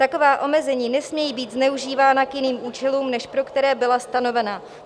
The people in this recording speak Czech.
Taková omezení nesmějí být zneužívána k jiným účelům, než pro které byla stanovena.